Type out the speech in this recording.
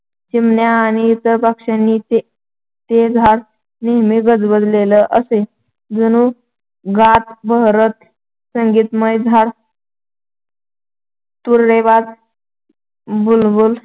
चिमण्या आणि इतर पक्षी यांनी ते झाड नेहमी गजबजलेलं असे. जणू गातं-बहरतं संगीतमय झाड तुरेदार बुलबुल